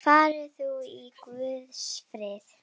Far þú í Guðs friði.